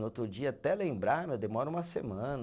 No outro dia, até lembrar, mas demora uma semana.